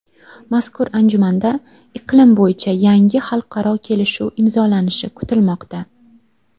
Mazkur anjumanda iqlim bo‘yicha yangi xalqaro kelishuv imzolanishi kutilmoqda.